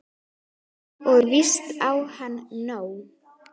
Og víst á hann nóg.